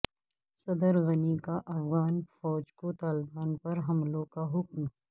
صدر غنی کا افغان فوج کو طالبان پر حملوں کا حکم